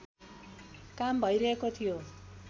काम भइरहेको थियो